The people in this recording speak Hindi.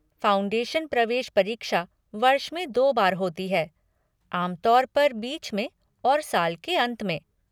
फाउंडेशन प्रवेश परीक्षा वर्ष में दो बार होती है, आम तौर पर बीच में और साल के अंत में।